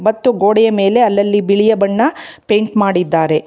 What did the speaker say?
ಮತ್ತು ಗೋಡೆಯ ಮೇಲೆ ಅಲ್ಲಲ್ಲಿ ಬಿಳಿಯ ಬಣ್ಣ ಪೇಂಟ್ ಮಾಡಿದ್ದಾರೆ.